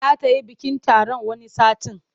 Za ta yi bikin taron wani satin.